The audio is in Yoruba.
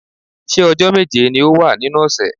Ṣé ọjọ́ méje ni ó wà nínú ọ̀sẹ̀?